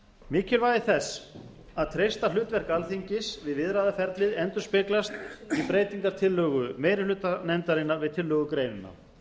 mikilvægi þess að treysta hlutverk alþingis við viðræðuferlið endurspeglast í breytingartillögu meiri hluta nefndarinnar við tillögugreinina